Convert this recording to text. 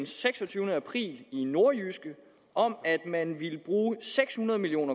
seksogtyvende april i nordjyske om at man ville bruge seks hundrede million